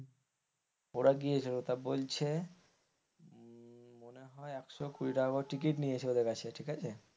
ওরা গিয়েছিল তা বলছে মনে হয় একশো কুড়ি টাকা করে টিকিট নিয়েছে ওদের কাছে ঠিক আছে,